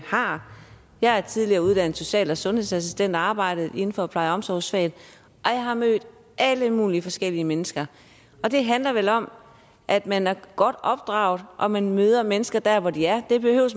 har jeg er tidligere uddannet social og sundhedsassistent og har arbejdet inden for pleje og omsorgsfaget og jeg har mødt alle mulige forskellige mennesker og det handler vel om at man er godt opdraget og at man møder mennesker der hvor de er